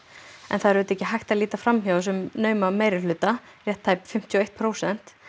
en það er auðvitað ekki hægt að líta fram hjá þessum nauma meirihluta rétt tæp fimmtíu og eitt prósent